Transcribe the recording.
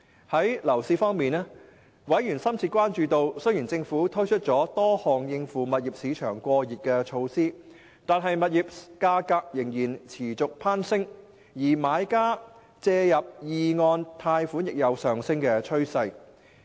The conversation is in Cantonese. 在樓市方面，委員深切關注到，雖然政府推出了多項應付物業市場過熱的措施，但物業價格仍然持續攀升；而買家借入二按貸款亦有上升趨勢。